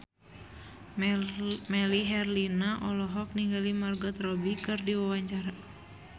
Melly Herlina olohok ningali Margot Robbie keur diwawancara